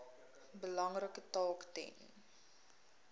belangrike taak ten